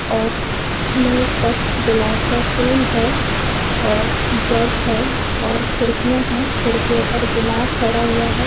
और मेज पर गुलाब का फूल है और जग है खिड़किया है खिड़कियों पर गिलास चढ़ा हुआ है।